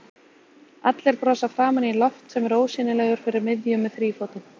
Allir brosa framan í Loft sem er ósýnilegur fyrir miðju með þrífótinn.